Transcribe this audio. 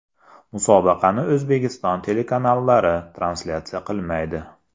Musobaqani O‘zbekiston telekanallari translyatsiya qilmaydi.